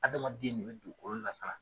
Adamaden ne be dugukolo labaara.